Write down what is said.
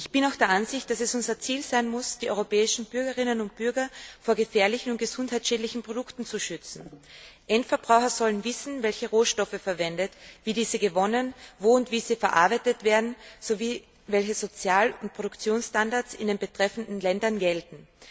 Ich bin auch der Ansicht, dass es unser Ziel sein muss, die europäischen Bürgerinnen und Bürger vor gefährlichen und gesundheitsschädlichen Produkten zu schützen. Endverbraucher sollen wissen, welche Rohstoffe verwendet, wie diese gewonnen, wo und wie sie verarbeitet werden sowie welche Sozial und Produktionsstandards in den betreffenden Ländern gelten.